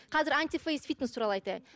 қазір антифейс фитнес туралы айтайын